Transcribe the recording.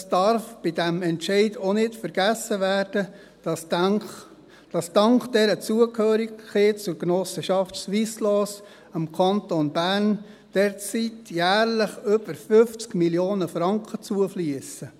Es darf bei diesem Entscheid auch nicht vergessen werden, dass dank dieser Zugehörigkeit zur Genossenschaft Swisslos dem Kanton Bern derzeit jährlich über 50 Mio. Franken zufliessen.